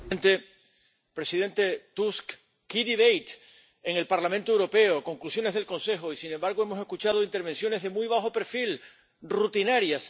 Señor presidente, presidente Tusk, en el Parlamento Europeo, Conclusiones del Consejo y, sin embargo, hemos escuchado intervenciones de muy bajo perfil, rutinarias.